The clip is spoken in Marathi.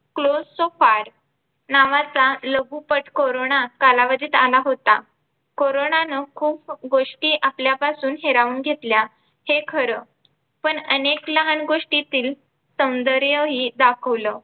close so far नावाचा लघुपट कोरोना कालावधीत आला होता. कोरोनानं खूप गोष्टी आपल्यापासून हिरावून घेतल्या हे खरं पण अनेक लहान गोष्टीतील सौंदर्यही दाखवलं.